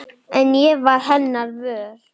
En ég varð hennar vör.